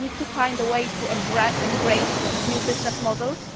We need to find a way to embrace these new business models